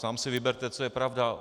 Sám si vyberte, co je pravda.